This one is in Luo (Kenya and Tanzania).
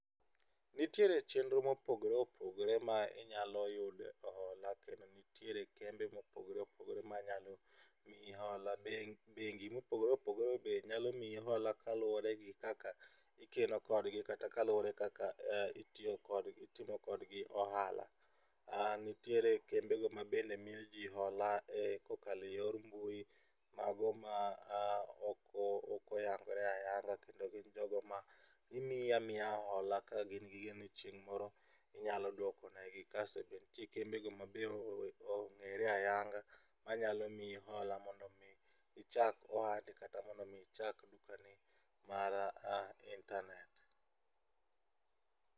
Nitiere chenro mopogore opogore ma inyalo yude hola, kendo nitiere kembe mopogore opogore manyalo miyi hola, bengi mopogore opogore manyalo miyi hola kaluwore gi kaka ikeno kodgi kata kaluwore gi kaka itiyo kodgi kata itimokodgi ohala nitiere kembego mabende miyoji hola kokalo eyor mbui mago ma ok oyangore ayanga, kendo gin jogo ma gimiyi amiya hola ka gin gi yie ni chieng' moro inyalo duoko negi kasto be nitie kembego mabe ong'ere ayanga manyalo miyi hola mondo mi ichak ohandi kata mondo mi ichak ohandi mar internate.